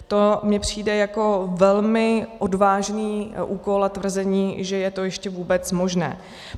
To mi přijde jako velmi odvážný úkol a tvrzení, že je to ještě vůbec možné.